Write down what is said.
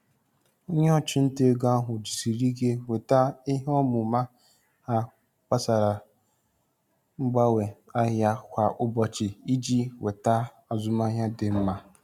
Onye ntinye ego nwere ahụmahụ na-ejikarị oge ahịa e nweta mkparịta ụka azụmahịa dị mma.